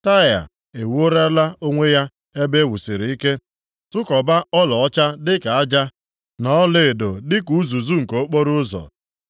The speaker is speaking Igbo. Taịa ewuolara onwe ya ebe e wusiri ike, tụkọba ọlaọcha dịka aja, na ọlaedo dịka uzuzu nke okporoụzọ.